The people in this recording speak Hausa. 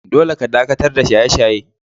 Dolle ka dakatar da shaye-shaye!